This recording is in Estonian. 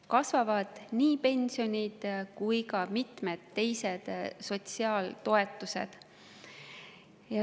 Kasvavad nii pensionid kui ka mitmed teised sotsiaaltoetused.